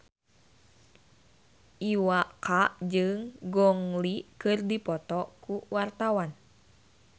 Iwa K jeung Gong Li keur dipoto ku wartawan